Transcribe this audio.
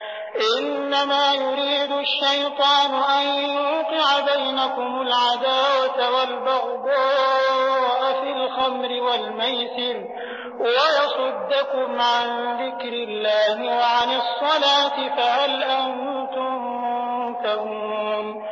إِنَّمَا يُرِيدُ الشَّيْطَانُ أَن يُوقِعَ بَيْنَكُمُ الْعَدَاوَةَ وَالْبَغْضَاءَ فِي الْخَمْرِ وَالْمَيْسِرِ وَيَصُدَّكُمْ عَن ذِكْرِ اللَّهِ وَعَنِ الصَّلَاةِ ۖ فَهَلْ أَنتُم مُّنتَهُونَ